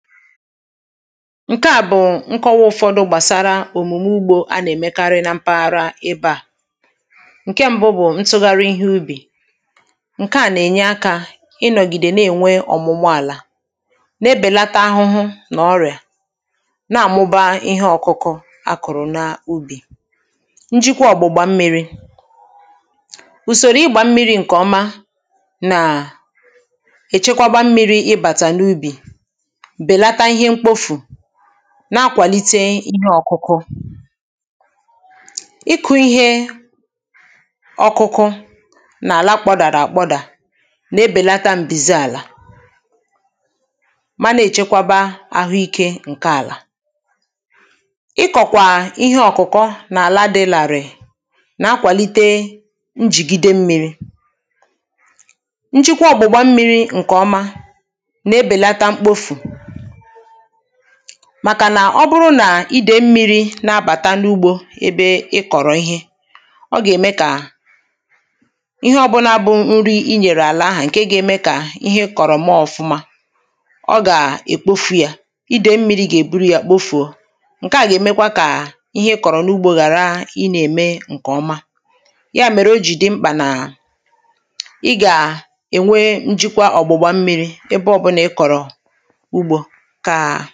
ǹkè a bụ̀ nkọwa ụ̀fọdụ gbàsara òmùmù ugbo a nà-èmekarị na mpaghara ibe à ǹkè mbụ bụ̀ ntụgharị ihe ubì ǹkèa nà-ènye akȧ ịnọ̀gìdè n’enwe ọ̀mụ̀mụ àlà n’ebèlata ahụhụ nà ọrị̀à nà-àmụba ihe ọ̀kụkụ a kụ̀rụ̀ n’ubì njikwa ọ̀gbụ̀gbà mmiri̇ ùsòrò ịgbȧ mmiri̇ ǹkè ọma nàà èchekwagbȧ mmiri̇ ịbàtà n’ubì nà-akwàlite ịhe ọ̀kụkụ ịkụ̇ ihe ọkụkụ nà-àla kpọ̀dàrà àkpọ̀dà nà-ebèlata ǹbìzi àlà ma nà-èchekwaba àhụikė ǹke àlà ikọ̀kwà ihe ọ̀kụkọ nà-àla dị làrị̀ nà-akwàlite njìgide mmiri njikwa ọ̀gbụ̀gba mmiri ǹkè ọma màkà nà ọ bụrụ nà idè mmi̇ri̇ na-abàta n’ugbȯ ebe ị kọ̀rọ̀ ihe ọ gà-ème kà ihe ọbụnȧ bụ nri i nyèrè àlà ahụ̀ ǹke ga-ème kà ihe kọ̀rọ̀ maa ọ̀fụma ọ gà-èkpofu̇ yȧ idè mmi̇ri̇ gà-èburu yȧ kpofu̇ o ǹke à gà-èmekwa kà ihe ị kọ̀rọ̀ n’ugbȯ ghàra i nà-ème ǹkè ọma ya mèrè o jì dị mkpà nà ị gà-ènwe njikwa ọ̀gbụ̀gbȧ mmiri̇ ebe ọ̀bụ̀nà ị kọ̀rọ̀ ugbȯ ka